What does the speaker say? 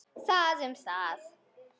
Það um það.